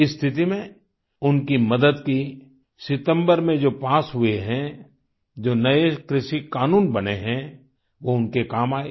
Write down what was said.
इस स्थिति में उनकी मदद की सितम्बर मे जो पास हुए हैं जो नए कृषि क़ानून बने हैं वो उनके काम आये